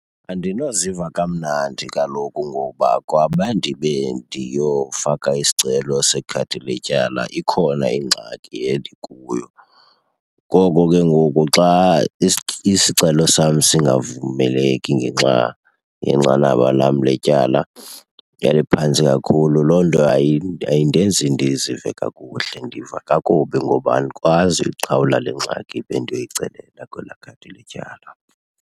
Andinoziva kamnandi kaloku ngoba kwabe ndibe ndiyofaka isicelo sekhadi letyala ikhona ingxaki endikuyo. Ngoko ke ngoku xa isicelo sam singavumeleki ngenxa yenqanaba lam letyala eliphantsi kakhulu loo nto ayindenzi ndizive kakuhle. Ndiva kakubi ngoba andikwazi uyiqhawula le ngxaki bendiyoyicelela kwelaa khadi letyala.